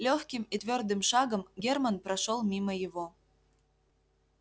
лёгким и твёрдым шагом германн прошёл мимо его